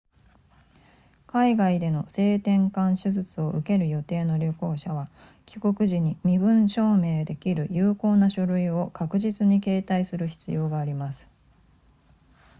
海外での性転換手術を受ける予定の旅行者は帰国時に身分証明できる有効な書類を確実に携帯する必要があります